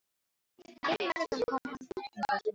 Einn morgun kom hann glottandi til okkar og sagði